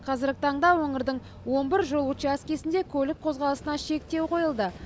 қазіргі таңда өңірдің он бір жол учаскесінде көлік қозғалысына шектеу қойылды